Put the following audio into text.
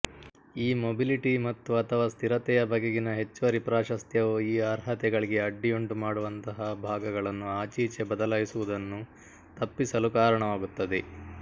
ಈ ಮೊಬಿಲಿಟಿ ಮತ್ತುಅಥವಾ ಸ್ಥಿರತೆಯ ಬಗೆಗಿನ ಹೆಚ್ಚುವರಿ ಪ್ರಾಶಸ್ತ್ಯವು ಈ ಅರ್ಹತೆಗಳಿಗೆ ಅಡ್ಡಿಯುಂಟುಮಾಡುವಂತಹ ಭಾಗಗಳನ್ನು ಆಚೀಚೆ ಬದಲಾಯಿಸುವುದನ್ನು ತಪ್ಪಿಸಲು ಕಾರಣವಾಗುತ್ತದೆ